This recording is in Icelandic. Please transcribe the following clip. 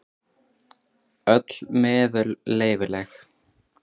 Öll meðul leyfileg.